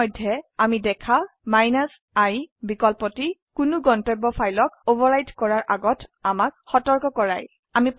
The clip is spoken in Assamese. ইতিমধ্যে আমি দেখা i বিকল্পটি কোনো গন্তব্য ফাইলক অভাৰৰাইট কৰাৰ আগত আমাক সতৰ্ক কৰায়